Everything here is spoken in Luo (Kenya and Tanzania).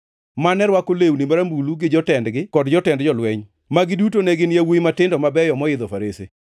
mane rwako lewni marambulu gi jotendgi kod jotend jolweny, ma giduto ne gin yawuowi matindo mabeyo moidho farese.